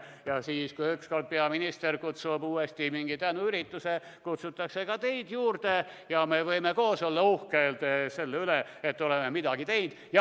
Ja siis, kui ükskord peaminister kutsub uuesti mingi tänuürituse kokku, kutsutakse ka teid kohale ja me võime koos olla uhked selle üle, et oleme midagi teinud.